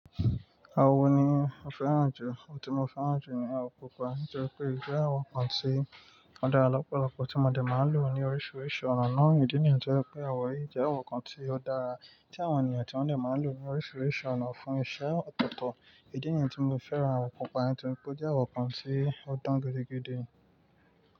Awọ ni mo fẹ́ràn jù. Òun tí mo fẹ́ràn jù ni àwọ̀ pupa. Nítorí pé ìṣe àwọn kan tí ó dára lọ́pọ̀lọpọ̀ tí mo dẹ̀ máa ń lò ní oríṣiríṣi ọ̀nà náà. Ìdí nìyẹn tó jẹ́ pé àwọn yìí jẹ́ ọ̀kan tí ó dára tí àwọn ènìyàn tí wọ́n dẹ̀ máa ń lò ní oríṣiríṣi ọ̀nà fún iṣẹ́ ọ̀tọ̀ọ̀tọ̀. Ìdí nìyẹn tí mo fẹ́ràn àwọ̀ pupa nítorí pé ó jẹ́ àwọ̀ kan tí ó dán gidi gidi.